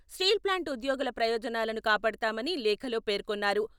Steel plant ఉద్యోగుల ప్రయోజనాలను కాపాడతామని లేఖలో పేర్కొన్నారు.